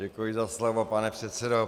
Děkuji za slovo, pane předsedo.